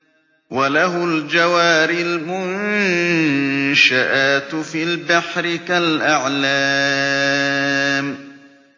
وَلَهُ الْجَوَارِ الْمُنشَآتُ فِي الْبَحْرِ كَالْأَعْلَامِ